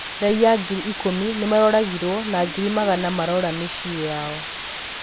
raiya ngiri ikũmi nimaroragirwo na ngiri magana marora mĩciĩ yao